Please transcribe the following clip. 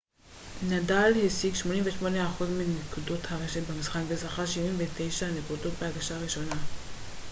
נדאל השיג 88 אחוז מנקודות הרשת במשחק וזכה ב-76 נקודות בהגשה הראשונה